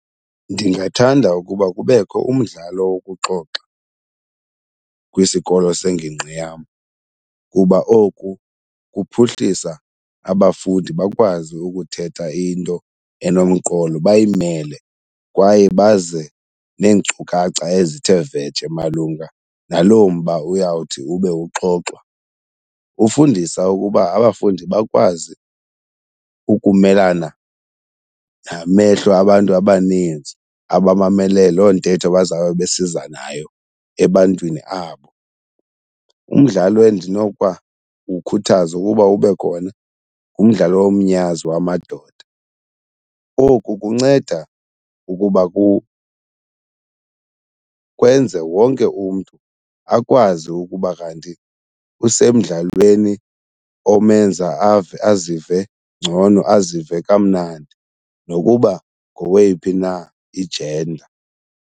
Ndingathanda ukuba kubekho umdlalo wokuxoxa kwisikolo sengingqi yam kuba oku kuphuhlisa abafundi bakwazi ukuthetha into enomqolo bayimele kwaye baze neenkcukacha ezithe vetshe malunga naloo mba uyawuthi ube uxoxwa. Ufundisa ukuba abafundi bakwazi ukumelana namehlo abantu abaninzi abamamele loo ntetho bazawube besiza nayo ebantwini abo. Umdlalo endinokuba uwukhuthaza ukuba ube khona ngumdlalo womnyazi wamadoda. Oku kunceda ukuba kwenze wonke umntu akwazi ukuba kanti usemdlalweni omenza ave azive ngcono, azive kamnandi nokuba ngoweyiphi na ijenda.